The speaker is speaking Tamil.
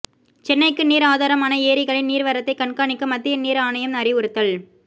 சென்னைக்கு நீர் ஆதாரமான ஏரிகளின் நீர் வரத்தை கண்காணிக்க மத்திய நீர் ஆணையம் அறிவுறுத்தல்